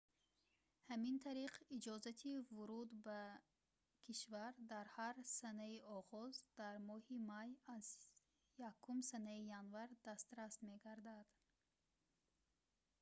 ҳамин тариқ иҷозати вуруд ба кишвар дар ҳар санаи оғоз дар моҳи май аз 1 санаи январ дастрас мегардад